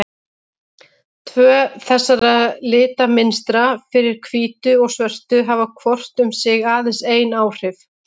Tvö þessara litamynstra, fyrir hvítu og svörtu, hafa hvort um sig aðeins ein áhrif.